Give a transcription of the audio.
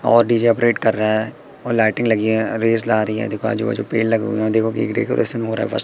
और DJ operate कर रहा है और लाइटिंग लगी है रेस ला रही है देखो आजू बाजू पेड़ लगे हुए हैं देखो कई डेकोरेशन हो रहा बस।